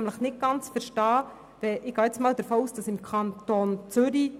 Ich gehe einmal davon aus, dass im Kanton Zürich